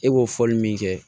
E b'o fɔli min kɛ